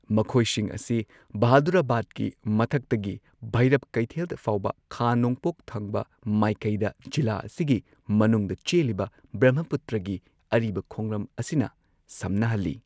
ꯃꯈꯣꯏꯁꯤꯡ ꯑꯁꯤ ꯕꯍꯥꯗꯨꯔꯥꯕꯥꯗꯀꯤ ꯃꯊꯛꯇꯒꯤ ꯚꯩꯔꯕ ꯀꯩꯊꯦꯜ ꯐꯥꯎꯕ ꯈꯥ ꯅꯣꯡꯄꯣꯛ ꯊꯪꯕ ꯃꯥꯏꯀꯩꯗ ꯖꯤꯂꯥ ꯑꯁꯤꯒꯤ ꯃꯅꯨꯡꯗ ꯆꯦꯜꯂꯤꯕ ꯕ꯭ꯔꯃꯄꯨꯇ꯭ꯔꯒꯤ ꯑꯔꯤꯕ ꯈꯣꯡꯂꯝ ꯑꯁꯤꯅ ꯁꯝꯅꯍꯜꯂꯤ꯫